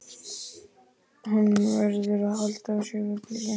Hann verður að halda sig við blýantinn.